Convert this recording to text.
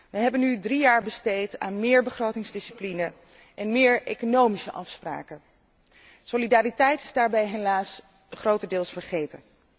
Wij hebben nu drie jaar besteed aan meer begrotingsdiscipline en meer economische afspraken. Solidariteit is daarbij helaas grotendeels vergeten.